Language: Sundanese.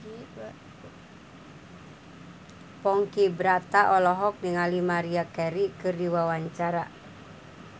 Ponky Brata olohok ningali Maria Carey keur diwawancara